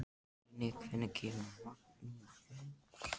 Líni, hvenær kemur vagn númer fjögur?